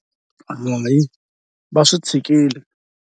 Va swi tshikile.